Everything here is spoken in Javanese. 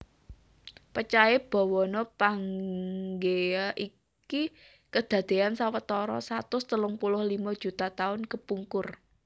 Pecahé bawana Pangea iki kedadeyan sawetara satus telung puluh limo juta taun kepungkur